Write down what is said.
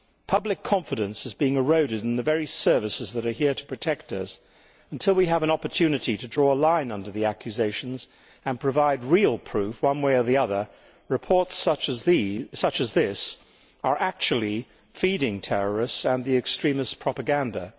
Public confidence is being eroded in the very services that are here to protect us, and until we have an opportunity to draw a line under the accusations and provide real proof one way or the other, reports such as this are actually feeding terrorists and extremist propaganda.